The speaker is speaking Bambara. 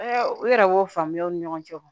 u yɛrɛ y'o faamuyaw ni ɲɔgɔn cɛ wa